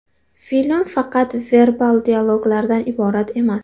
Film faqat verbal dialoglardan iborat emas.